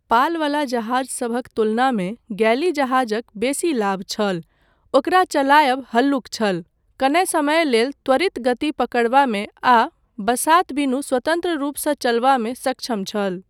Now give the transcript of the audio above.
पालवला जहाजसभक तुलनामे गैली जहाजक बेसी लाभ छल, ओकरा चलायब हल्लुक छल, कने समय लेल त्वरित गति पकड़बामे आ बसात बिनु स्वतन्त्र रूपसँ चलबामे सक्षम छल।